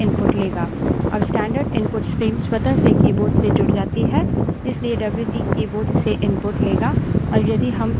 अब standard input stream स्वतः से keyboard से जुड़ जाती है इसलिए डब्ल्यूसी wc keyboard से input लेगा